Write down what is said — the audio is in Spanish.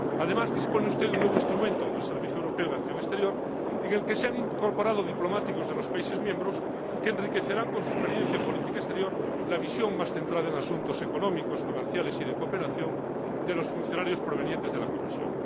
Además, dispone usted de un nuevo instrumento, el Servicio Europeo de Acción Exterior, en el que se han incorporado diplomáticos de los países miembros que enriquecerán con su experiencia en política exterior la visión más centrada en asuntos económicos, comerciales y de cooperación de los funcionarios provenientes de la Comisión.